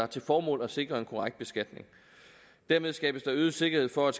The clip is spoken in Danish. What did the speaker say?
til formål at sikre en korrekt beskatning dermed skabes der øget sikkerhed for at